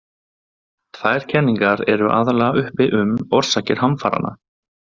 Tvær kenningar eru aðallega uppi um orsakir hamfaranna.